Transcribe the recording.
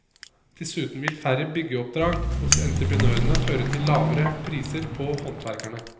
Dessuten vil færre byggeoppdrag hos entreprenørene føre til lavere priser på håndverkerne.